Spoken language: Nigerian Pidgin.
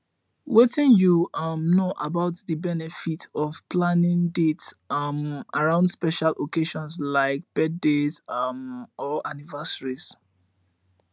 wetin you um know about di benefits of planning dates um around special occasions like birthdays um or anniversaries